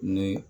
Ni